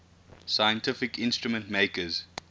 scientific instrument makers